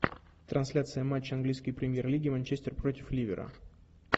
трансляция матча английской премьер лиги манчестер против ливера